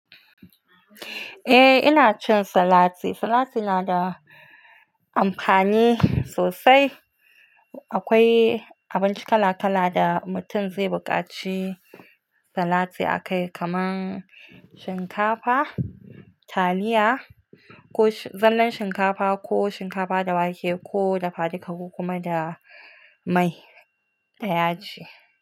Eh, ina cin salati. Salati na da amfani sosai. Akwai abinci kala kala da mutum zai bukaci salati akai kaman shinkafa, taliya, ko zallan shinkafa ko shinkafa da wake ko dafa dika kokuma da mai da yaji.